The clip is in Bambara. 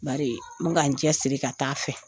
Bari n be ka n cɛ siri ka taa a fɛ.